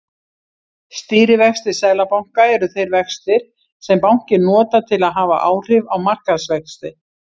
Stýrivextir seðlabanka eru þeir vextir sem bankinn notar til að hafa áhrif á markaðsvexti.